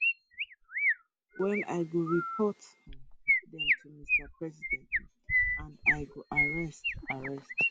well i go report um dem to mr president um and i go arrest arrest